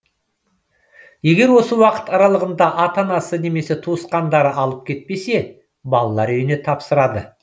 егер осы уақыт аралығында ата анасы немесе туысқандары алып кетпесе балалар үйіне тапсырады